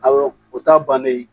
Awɔ o ta bannen